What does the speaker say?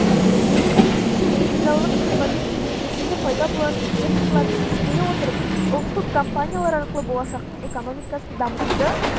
мемлекет үшінші индустриалдық революция нәтижесінде пайда болатын секторларды ескере отырып ұлттық компаниялар арқылы болашақтың экономикасын дамытуды